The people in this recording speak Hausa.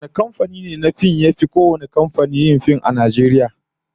Wane kamfani ne na fim yafi kowanne yin fim a Najeriya?